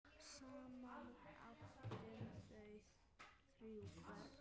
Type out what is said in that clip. Saman áttu þau þrjú börn.